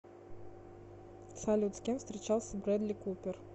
салют с кем встречался брэдли купер